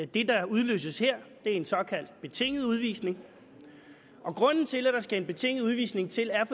det der udløses her er en såkaldt betinget udvisning og grunden til at der skal en betinget udvisning til er